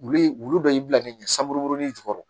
Wulu ye wulu dɔ y'i bila nin ɲɛ san muru jukɔrɔ